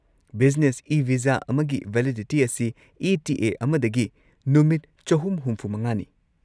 Business e visa ꯑꯃꯒꯤ validity ꯑꯁꯤ E. T. A. ꯑꯃꯗꯒꯤ ꯅꯨꯃꯤꯠ ꯳꯶꯵ꯅꯤ꯫